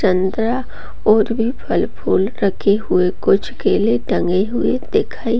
संतरा और भी फल-फूल रखे हुये कुछ केले टंगे हुये दिखाई --